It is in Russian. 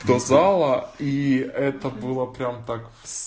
до зала и это было прямо так с